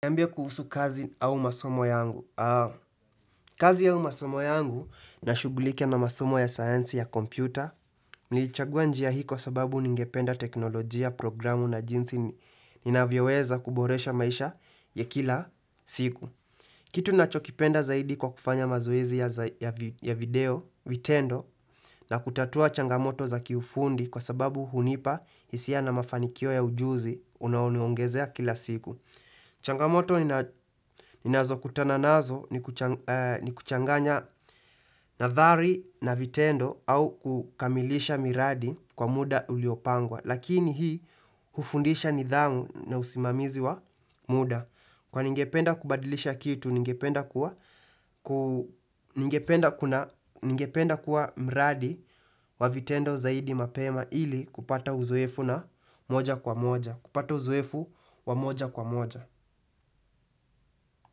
Nambia kuhusu kazi au masomo yangu. Kazi au masomo yangu na shugulike na masomo ya sayansi ya kompyuta, milichagua njia hiko sababu ningependa teknolojia, programu na jinsi ni nina vyaweza kuboresha maisha ya kila siku. Kitu nachokipenda zaidi kwa kufanya mazoezi ya video, vitendo, na kutatua changamoto za kifundi kwa sababu hunipa hisia na mafanikio ya ujuzi unaonuongezea kila siku. Changamoto ninazo kutana nazo ni kuchanganya nadhari na vitendo au kukamilisha miradi kwa muda uliopangwa Lakini hii hufundisha nidhamu na usimamizi wa muda Kwa ningependa kubadilisha kitu ningependa kuwa miradi wa vitendo zaidi mapema ili kupata uzoefu na moja kwa moja kupata uzoefu wa moja kwa moja.